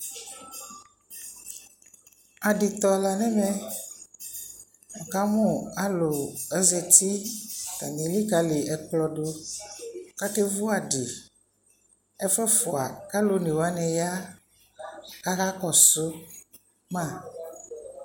Aditɔ la nɛmɛ ɛkamʊ alu zati atani elikali ɛkplodu kakevʊ adɩ ɛfu ɛfua kalu onewani ya kʊ akakɔsuma